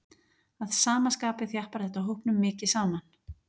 Að sama skapi þjappar þetta hópnum mikið saman.